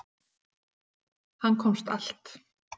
Hann komst allt.